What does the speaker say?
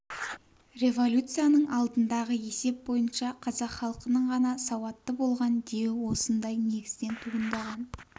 революцияның алдындағы есеп бойынша қазақ халқының ғана сауатты болған деуі осындай негізден туындаған